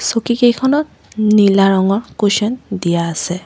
চকী কেইখনত নীলা ৰঙৰ কুশ্বন দিয়া আছে।